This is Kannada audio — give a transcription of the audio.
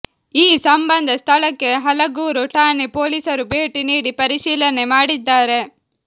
ಈ ಸಂಬಂಧ ಸ್ಥಳಕ್ಕೆ ಹಲಗೂರು ಠಾಣೆ ಪೊಲೀಸರು ಭೇಟಿ ನೀಡಿ ಪರಿಶೀಲನೆ ಮಾಡಿದ್ದಾರೆ